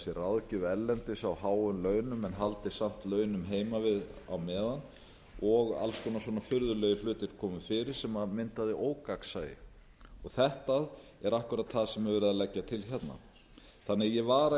sér ráðgjöf erlendis á háum launum en haldið samt launum heima við á meðan og alls konar svona furðulegir hlutir komu fyrir sem myndaði ógagnsæi þetta er akkúrat það sem er verið að leggja til hérna ég vara því